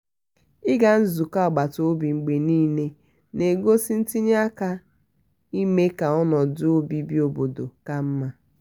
ịga nzukọ agbata obi mgbe niile na-egosi ntinye aka ime ka ọnọdụ obibi obodo ka mma.